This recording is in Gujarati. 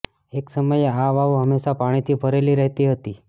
એક સમયે આ વાવ હંમેશા પાણીથી ભરેલી રહેતી હતી